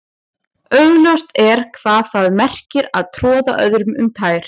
Augljóst er hvað það merkir að troða öðrum um tær.